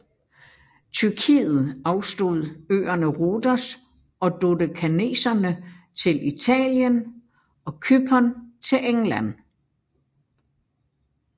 Tyrkiet afstod øerne Rhodos og Dodekaneserne til Italien og Cypern til England